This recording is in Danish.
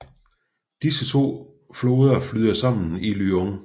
Disse to floder flyder sammen i Lyon